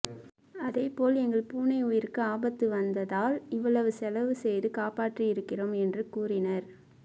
அதே போல் எங்கள் பூனை உயிருக்கு ஆபத்து வந்ததால் இவ்வளவு செலவு செய்து காப்பாற்றி இருக்கிறோம் என்று கூறினார்